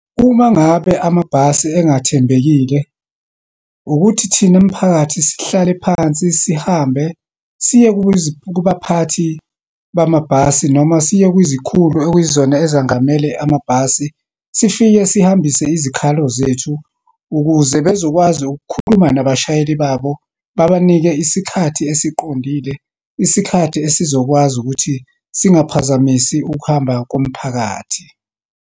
Uma ngabe amabhasi engathembekile, ukuthi thina mphakathi sihlale phansi, sihambe siye kubaphathi bamabhasi, noma siye kwizikhulu ekuyizona ezengamele amabhasi, sifike sihambise izikhalo zethu, ukuze bezokwazi ukukhuluma nabashayeli babo babanike isikhathi esiqondile, isikhathi esizokwazi ukuthi singaphazamisi ukuhamba komphakathi.